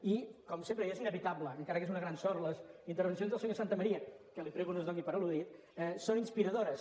i com sempre i és inevitable encara que és una gran sort les intervencions del senyor santamaría que li prego que no es doni per al·ludit són inspiradores